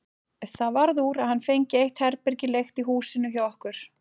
Það varð úr að hann fengi eitt herbergi leigt í húsinu hjá okkur.